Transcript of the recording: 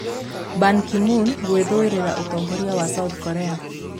Ban Ki-moon gwĩthuurĩra ũtongoria wa South Korea